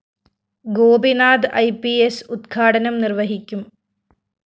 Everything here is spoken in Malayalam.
ഗോപിനാഥ് ഇ പി സ്‌ ഉദ്ഘാടനം നിര്‍വ്വഹിക്കും